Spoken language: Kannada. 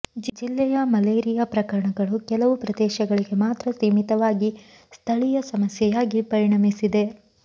ಜಿಲ್ಲೆಯ ಮಲೇರಿಯಾ ಪ್ರಕರಣಗಳು ಕೆಲವು ಪ್ರದೇಶಗಳಿಗೆ ಮಾತ್ರ ಸೀಮಿತವಾಗಿ ಸ್ಥಳೀಯ ಸಮಸ್ಯೆಯಾಗಿ ಪರಿಣಮಿಸಿದೆ